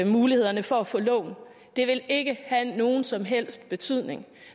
mulighederne for at få lån det vil ikke have nogen som helst betydning